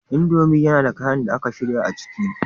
Indomie yana da kayan da aka shirya a ciki